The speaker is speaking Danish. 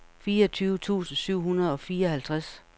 fireogfyrre tusind syv hundrede og fireoghalvtreds